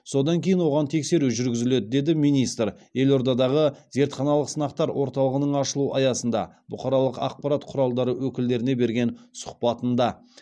содан кейін оған тексеру жүргізіледі деді министр елордадағы зертханалық сынақтар орталығының ашылу аясында бұқаралық ақпарат құралдары өкілдеріне берген сұхбатында